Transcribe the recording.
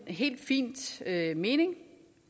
helt fint mening